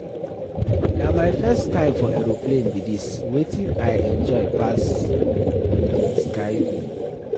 Na my first time for aeroplane be dis, wetin I enjoy pass be the sky view